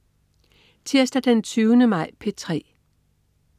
Tirsdag den 20. maj - P3: